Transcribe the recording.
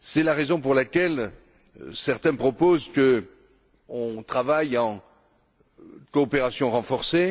C'est la raison pour laquelle certains proposent qu'on travaille en coopération renforcée.